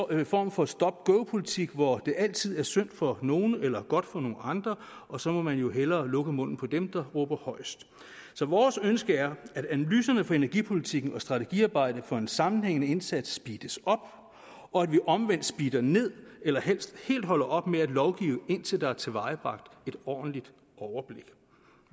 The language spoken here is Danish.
en form for stop go politik hvor det altid er synd for nogle eller godt for nogle andre og så må man jo hellere lukke munden på dem der råber højest så vores ønske er at analyserne for energipolitikken og strategiarbejdet for en sammenhængende indsats speedes op og at vi omvendt speeder ned eller helst helt holder op med at lovgive indtil der er tilvejebragt et ordentligt overblik